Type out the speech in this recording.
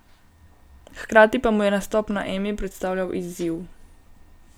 Hkrati pa mu je nastop na Emi predstavljal izziv.